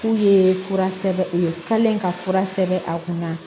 K'u ye fura sɛbɛn u ye u kalen ka fura sɛbɛn a kunna